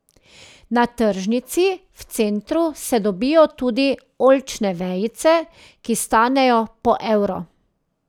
Na tržnici v centru se dobijo tudi oljčne vejice, ki stanejo po evro.